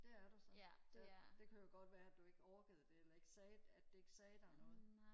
det er du så ja det kunne jo godt være du ikke orkede det eller ikke sagde at det ikke sagde dig noget